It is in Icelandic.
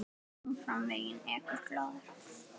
Áfram veginn ekur glaður.